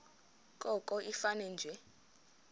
koko ifane nje